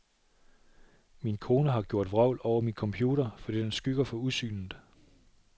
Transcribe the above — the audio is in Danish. Min kone har gjort vrøvl over min computer, fordi den skygger for udsynet.